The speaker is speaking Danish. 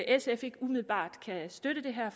sf ikke umiddelbart kan støtte det her